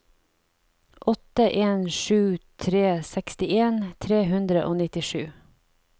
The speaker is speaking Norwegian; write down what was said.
åtte en sju tre sekstien tre hundre og nittisju